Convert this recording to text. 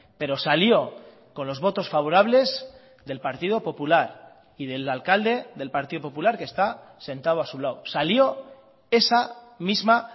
pero salió con los votos favorables del partido popular y del alcalde del partido popular que está sentado a su lado salió esa misma